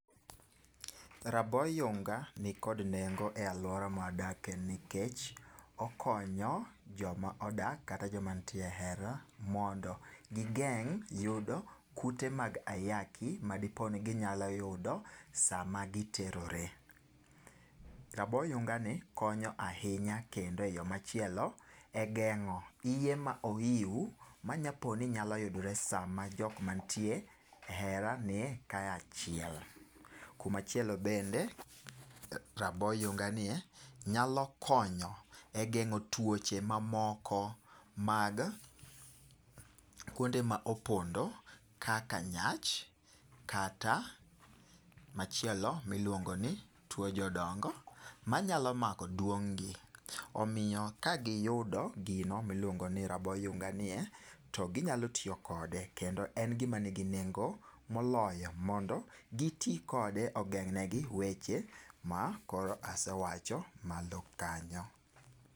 Rabo yunga nikod nengo e alwora mawadake nikech okonyo joma odak kata joma nitie e hera mondo gigeng' yudo kute mag ayaki madipo ni ginyalo yudo sama giterore. Rabo yunga ni konyo ahinya kendo e yo machielo e geng'o iye ma ohiu manyapo ni nyalo yudore sama jokmantie e hera nie kayachiel. Kumachielo bende, rabo yunga nie nyalo konyo e geng'o tuoche mamoko mag kuonde ma opondo kaka nyach kata machielo miluongo ni tuo jodongo manyalo mako duong' gi. Omiyo kagiyudo gino miluongo ni rabo yunga ni, to ginyalo tiyo kode. Kendo en gima nigi nengo moloyo mondo giti kode ogeng'ne gi weche ma koro asewacho malo kanyo.